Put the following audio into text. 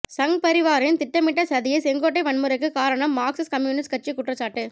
சங்பரிவாரின் திட்டமிட்ட சதியே செங்கோட்டை வன்முறைக்கு காரணம் மார்க்சிஸ்ட் கம்யூனிஸ்ட் கட்சி குற்றச்சாட்டு